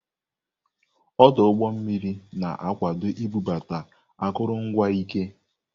Ọdụ ụgbọ mmiri na-akwado ibubata akụrụngwa ike.